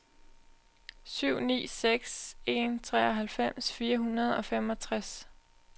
syv ni seks en treoghalvfems fire hundrede og femogtres